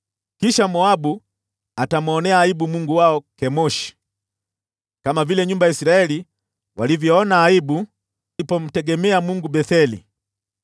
Kisha Moabu atamwonea aibu mungu wao Kemoshi, kama vile nyumba ya Israeli walivyoona aibu walipotegemea mungu wa Betheli.